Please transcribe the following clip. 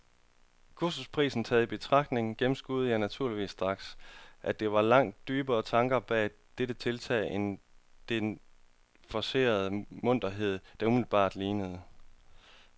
Kursusprisen taget i betragtning gennemskuede jeg naturligvis straks, at der var langt dybere tanker bag dette tiltag end den forcerede munterhed, det umiddelbart lignede.